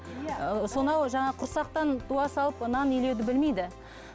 ыыы сонау жаңағы құрсақтан туа салып нан илеуді білмейді